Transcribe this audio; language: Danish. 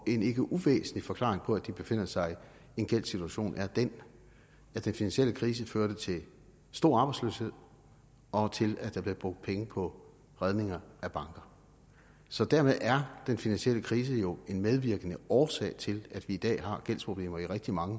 en ikke uvæsentlig forklaring på at de befinder sig i en gældssituation er den at den finansielle krise førte til stor arbejdsløshed og til at der blev brugt penge på redninger af banker så dermed er den finansielle krise jo en medvirkende årsag til at vi i dag har gældsproblemer i rigtig mange